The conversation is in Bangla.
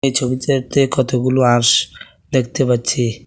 ছবিটাতে কতগুলো হাঁস দেখতে পাচ্ছি।